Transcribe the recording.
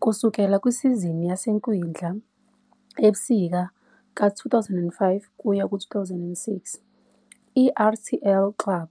Kusukela kusizini yasekwindla-ebusika ka-2005-2006, i-RTL Klub